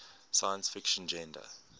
science fiction genre